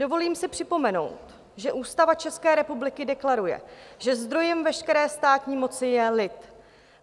Dovolím si připomenout, že Ústava České republiky deklaruje, že zdrojem veškeré státní moci je lid.